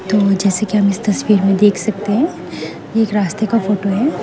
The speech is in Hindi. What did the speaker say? जैसे कि हम इस तस्वीर में देख सकते हैं ये एक रास्ते का फोटो है।